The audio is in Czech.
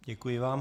Děkuji vám.